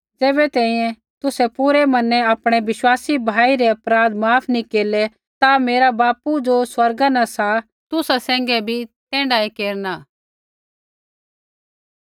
ज़ैबै तैंईंयैं तुसै पूरै मनै आपणै विश्वासी भाई रै अपराध माफ नी केरलै ता मेरा बापू ज़ो स्वर्गा न सा तुसा सैंघै भी तैण्ढाऐ केरना